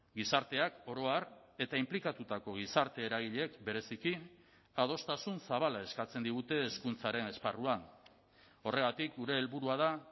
gizarteak oro har eta inplikatutako gizarte eragileek bereziki adostasun zabala eskatzen digute hezkuntzaren esparruan horregatik gure helburua da